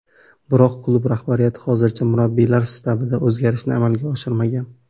Biroq klub rahbariyati hozircha murabbiylar shtabida o‘zgarishni amalga oshirmagan.